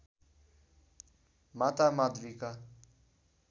माता माद्रीका